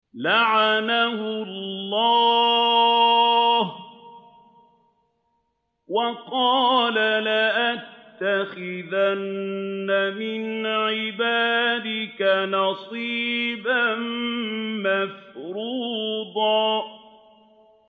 لَّعَنَهُ اللَّهُ ۘ وَقَالَ لَأَتَّخِذَنَّ مِنْ عِبَادِكَ نَصِيبًا مَّفْرُوضًا